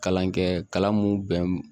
Kalan kɛ kalan mun bɛn